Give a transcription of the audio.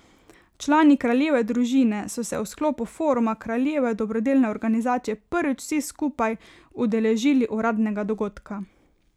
Člani kraljeve družine so se v sklopu foruma kraljeve dobrodelne organizacije prvič vsi skupaj skupaj udeležili uradnega dogodka.